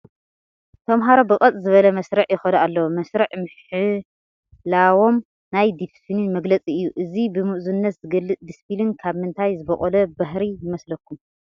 ተመሃሮ ብቀጥ ዝበለ መስርዕ ይኸዱ ኣለዉ፡፡ መስርዕ ምሕላዎም ናይ ዲስፒሊን መግለፂ እዩ፡፡ እዚ ብምእዙዝነት ዝግለፅ ዲሲፒሊን ካብ ምንታይ ዝበቖለ ባህሪ ይመስለኩም?